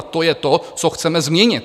A to je to, co chceme změnit.